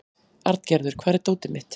Arngerður, hvar er dótið mitt?